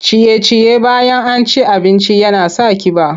Ciye-ciye bayan an ci abinci yana sa ƙiba.